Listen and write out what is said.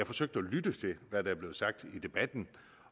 forsøgt at lytte til hvad der blev sagt i debatten